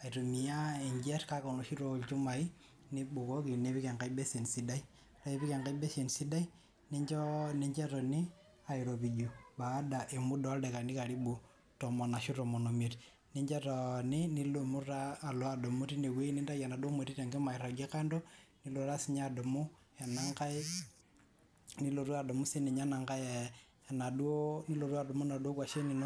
aitumia enjet kake enoshi taa olchumai nibukoki nipik enkae basin sidai , ore ake piipik ninchoo, nincho etoni airopiju baada e muda oldaikani karibu tomon ashu tomon omiet , nincho etooni , nidumu taa adumu tine wuei , nintayu enaduo moti airagie kando nilotu taa si adumu ena nkae , nilotu adumu sinye ena nkae enaduo , nilotu adumu inaduo kwashen inonok.